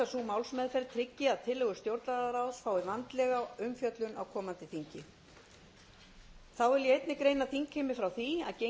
málsmeðferð tryggi að tillögur stjórnlagaráðs fái vandlega umfjöllun á komandi þingi þá vil ég einnig greina þingheimi frá því